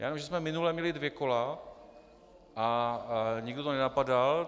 Já vím, že jsme minule měli dvě kola a nikdo to nenapadal.